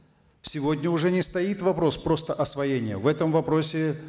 сегодня уже не стоит вопрос просто освоения в этом вопросе